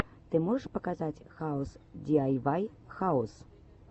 ты можешь показать хаус диайвай хаус